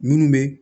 Minnu bɛ